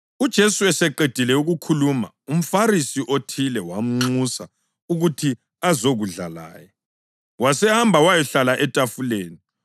UJesu eseqedile ukukhuluma umFarisi othile wamnxusa ukuthi azokudla laye; wasehamba wayahlala etafuleni.